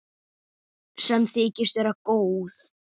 Sem þykist vera góð.